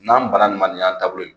N'an banna nin ma nin y'an la taabolo ye.